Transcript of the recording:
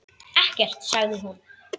Ekkert, sagði hún.